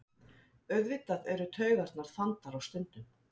Auðvitað eru taugarnar þandar á stundum